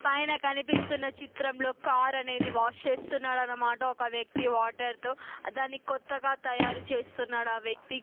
పైన కనిపిస్తున్న చిత్రంలో కార్ అనేది వాష్ చేస్తున్నాడు అనమాట ఒక వ్యక్తి వాటర్ తో దానికి కొత్తగా తయారు చేస్తున్నాడు ఆ వ్యక్తి.